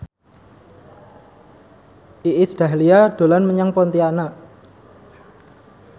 Iis Dahlia dolan menyang Pontianak